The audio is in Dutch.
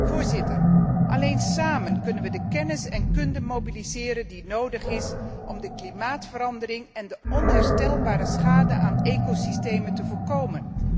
Voorzitter, alleen samen kunnen wij de kennis en kunde mobiliseren die nodig is om de klimaatverandering en de onherstelbare schade aan ecosystemen te voorkomen.